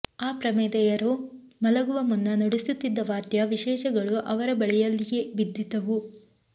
ಆ ಪ್ರಮದೆಯರು ಮಲಗುವ ಮುನ್ನ ನುಡಿಸುತ್ತಿದ್ದ ವಾದ್ಯವಿಶೇಷಗಳು ಅವರ ಬಳಿಯಲ್ಲಿಯೆ ಬಿದ್ದಿದ್ದುವು